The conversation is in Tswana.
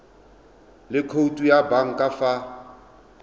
le khoutu ya banka fa